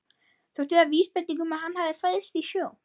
Þótti það vísbending um að hann hefði fæðst í sjó.